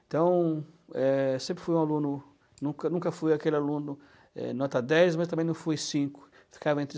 Então, eh, sempre fui um aluno, nunca nunca fui aquele aluno eh nota dez, mas também não fui cinco, ficava entre